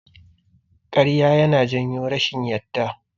Ƙarya yana janyo rashin yarda.